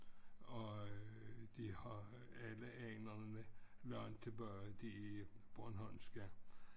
Og øh de har alle anerne langt tilbage de bornholmske